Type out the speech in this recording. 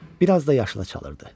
Bir az da yaşılı çalılırdı.